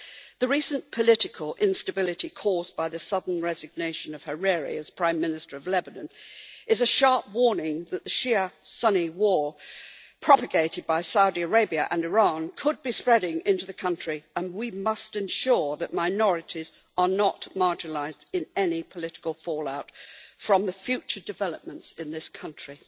The recent political instability caused by the sudden resignation of Hariri as Prime Minister of Lebanon is a sharp warning that the Shia Sunni war propagated by Saudi Arabia and Iran could be spreading into the country, and we must ensure that minorities are not marginalised in any political fallout from the future developments in this country.